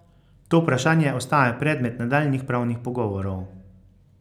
To vprašanje ostaja predmet nadaljnjih pravnih pogovorov.